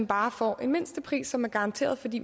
bare får en mindstepris som er garanteret fordi